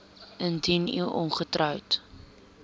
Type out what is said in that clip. indien u ongetroud